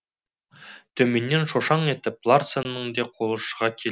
төменнен шошаң етіп ларсеннің де қолы шыға келді